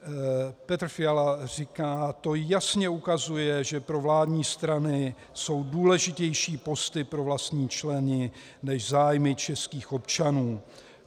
Petr Fiala říká: "To jasně ukazuje, že pro vládní strany jsou důležitější posty pro vlastní členy než zájmy českých občanů.